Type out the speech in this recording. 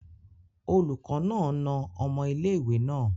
Oluko naa na omo ile-iwe naa